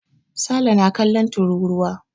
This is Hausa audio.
Sale na kallon tururuwa.